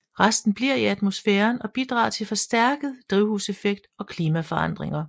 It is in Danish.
Resten bliver i atmosfæren og bidrager til forstærket drivhuseffekt og klimaforandringer